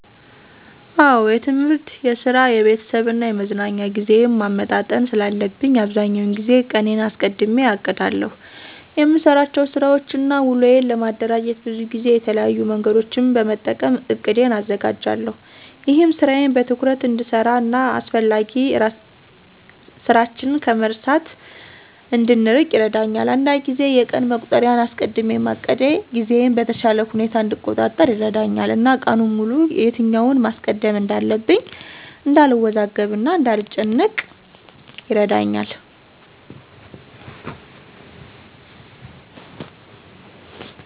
አዎ የትምህርት፣ የስራ፣ የቤተሰብ እና የመዝናኛ ጊዜዬን ማመጣጠን ስላለብኝ አብዛኛውን ጊዜ ቀኔን አስቀድሜ አቅዳለሁ። የምሰራቸውን ስራወችን እና ውሎዬን ለማደራጀት ብዙ ጊዜ የተለያዩ መንገዶችን በመጠቀም እቅዴን አዘጋጃለሁ። ይህም ስራዬን በትኩረት እንድሰራ እና አስፈላጊ ስራችን ከመርሳት እንድንርቅ ይረዳኛል። አንዳንድ ጊዜ የቀን መቁጠሪያን ተጠቅሜ ውሎዬን ለመከታተል እሞክራለሁ። አስቀድሜ ማቀዴ ጊዜዬን በተሻለ ሁኔታ እንድቆጣጠር ይረዳኛል እና ቀኑን ሙሉ የትኛውን ማስቀደም እንዳለብኝ እንዳልወዛገብ እና እንዳልጨናነቅ ይረዳኛል።